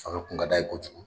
O de kun ka d'a ye kojugu